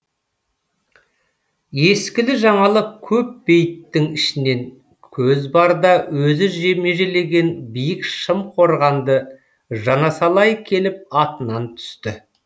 ескілі жаңалы көп бейіттің ішінен көз барда өзі межелеген биік шым қорғанды жанасалай келіп атынан түсті